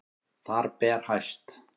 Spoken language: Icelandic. Þar ber hæst